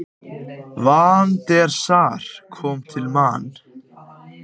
Van der Sar kom til Man.